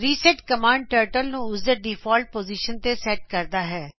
reset command turtle ਨੂੰ ਉਸਦੇ default position ਤੇ ਸੈਟ ਕਰਦਾ ਹੈ